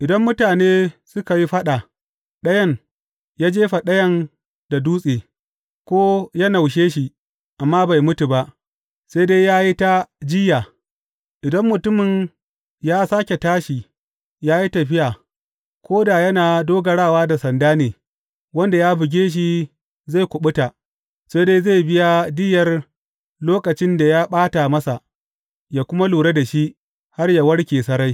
Idan mutane suka yi faɗa, ɗayan ya jefa ɗayan da dutse, ko ya naushe shi amma bai mutu ba, sai dai ya yi ta jiyya, idan mutumin ya sāke tashi ya yi tafiya ko da yana dogarawa da sanda ne, wanda ya buge shi zai kuɓuta, sai dai zai biya diyyar lokacin da ya ɓata masa, yă kuma lura da shi, har yă warke sarai.